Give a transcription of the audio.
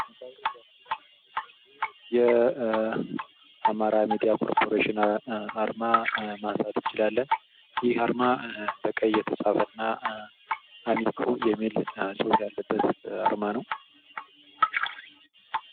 የአማራ ኮርፖሬሽን አርማ ማንሳት ይቻላል ።ይህ አርማ በቀይ የተፃፈና አሚኮ የሚል ፅሁፍ ያለበት አርማ ነው።